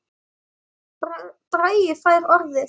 Bragi fær orðið